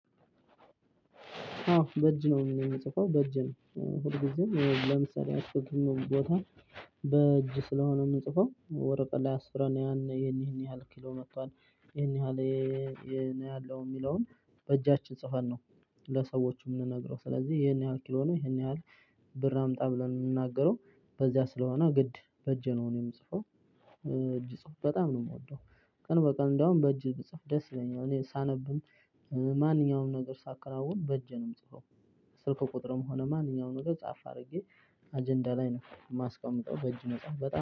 አዎ፣ በእጅ ነው ምጽፈው በእጄ ነው ብዙ ጊዜ ለምሰራቸውም የትኛው ቦታ በእጅ ስለሆነ የምጽፈው ወረቀት ላይ አስፍረን ያን ይሄን ይሄን ያህል ኪሎ መጥቷል ይሄን ያህል ይሄን ያህል የሚለውን በእጃችን ጽፈን ነው። ለሰዎቹ የምንነግረው ስለዚህ ይሄን ያህል ኪሎ ነው ይሄን ያህል ብር አምጣ ብለን የምናገረው በዚያ ስለሆነ ግድ በእጄ ነው የምጽፈው እጅ ጽፉ በጣም ነው የምወደው። ቀን በቀን እንደውም በእጅ ብጽፍ ደስ ይለኛል እኔ ሳነብም ማንኛውም ነገር ሳከናውን በእጄ ነው የምጽፈው። ስልኩ ቁጥርም ሆነ ማንኛውንም ነገር ጻፋ አድርጌ አጀንዳ ላይ ነው የማስቀምጠው በእጅ ነገር